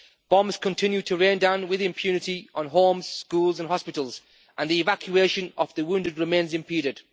Bombs continue to rain down with impunity on homes, schools and hospitals, and the evacuation of the wounded remains impeded.